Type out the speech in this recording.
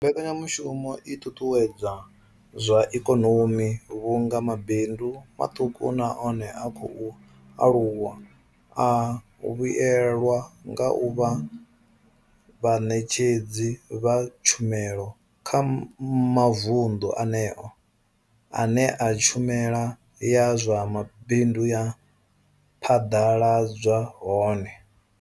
Mbekanya mushumo i ṱuṱuwedza zwa ikonomi vhunga mabindu maṱuku na one a khou aluwa a vhuelwa nga u vha vhaṋetshedzi vha tshumelo kha mavundu eneyo ane tshumelo ya zwa mabindu ya phaḓaladzwa hone.